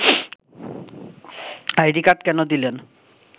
ID card কেন দিলেন